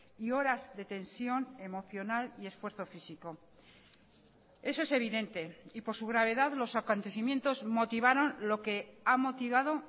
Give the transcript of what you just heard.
y horas de tensión emocional y esfuerzo físico eso es evidente y por su gravedad los acontecimientos motivaron lo que ha motivado